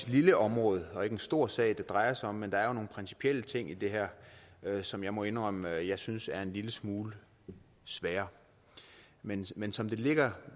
lille område og ikke en stor sag det drejer sig om men der er jo nogle principielle ting i det her som jeg må indrømme at jeg synes er en lille smule svære men men som det ligger